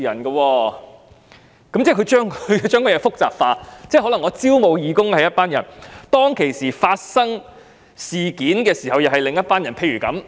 這樣做便會把事情複雜化了，因為招募義工時是一些人，發生事情時又是另一些人。